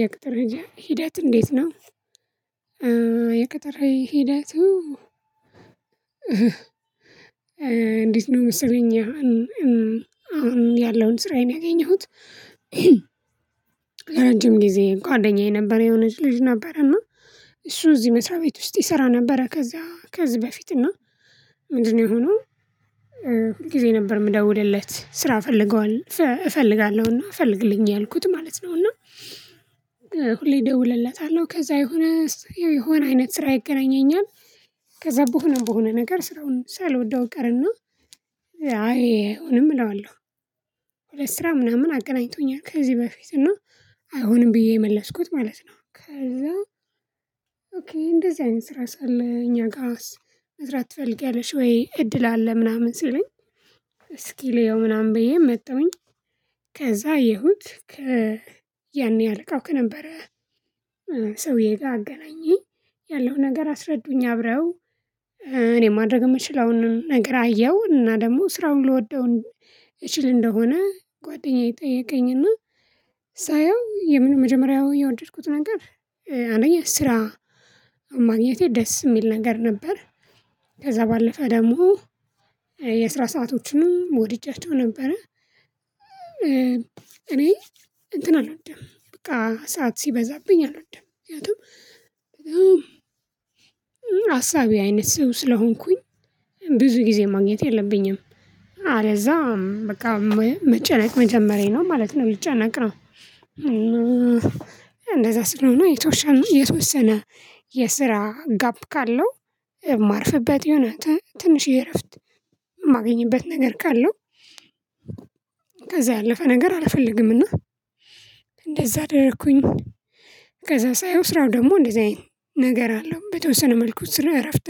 የቅጥር ሂደት እንዴት ነው? የቅጥር ሂደቱ? እንዴት ነው መሰለኝ አሁን ያለውን ስራዬን ያገኘሁት። ለረጅም ጊዜ ጓደኛዬ ነበር የሆነች ልጅ ነበረና እና እሱ እዚህ መስሪያ ቤት ውስጥ ይሰራ ነበረ ከዛ ከዚህ በፊት እና ምንድነው የሆነው? ሁል ጊዜ ነበር የምደውልለት ስራ እፈልገዋለሁ እፈልጋለሁና ፈልግልኝ እያልኩት ማለት ነው። እና ሁሌ እደውልለታለሁ ከዛ የሆነ የሆነ አይነት ስራ ይገናኘኛል። ከዛ በሆንም በሆነ ነገር ስራውን ሳልወደው እቀርና። አይ አሁንም እለዋለሁ። ሁለት ስራ ምናምን አቀናኝቶኛል ከዚህ በፊት እይሆንም ብዬ የመለስኩት ማለት ነው። ከዛ ኦኬ እንደዚህ አይነት ስራስ አለ እኛ ጋርስ መስራት ትፈልጊያለሽ ወይ እድል አለ ምናምን ሲለኝ። እስኪ ልየው ምናምን ብዬ መጣሁኝ። ከዛ አየሁት ከ አለቃው ከነበረ ሰውዬ ጋር አገናኘኝ። ያለው ነገር አስረዱኝ አብረው እኔ ማድረግ የምችል አሁን ነገር አየሁ እና ደግሞ ስራውን ልወደው። እችል እንደሆነ ጓደኛዬ ጠየቀኝና። ሳየው የምን መጀመሪያው የወደድኩት ነገር አንደኛ ስራ ማኝነቴ ደስ የሚል ነገር ነበር። ከዛ ባለፈ ደግሞ የስራ ሰአቶችንም ወድጃቸው ነበረ። እኔ እንትን አልወድም በቃ ሰዓት ሲበዛብኝ አልወድም ምክንያቱም። አሳቢ አይነት ሰው ስለሆንኩኝ ብዙ ጊዜ ማግኘት የለብኝም። አለዚያ በቃ መጨነቅ መጀመሬ ነው ማለት ነው ልጨነቅ ነው። እንደዛ ስለሆነ የተወሰነ የስራ ጋፕ ካለው የማርፍበት የሆነ ትንሽ የእረፍት የማገኝበት ነገር ካለው። ከዛ ያለፈ ነገር አልፈልግምና እንደዛ አደረኩኝ። ከዛ ሳየው ስራው ደግሞ እንደዛ አይነት ነገር አለው በተወሰነ መልኩ ስራው እረፍት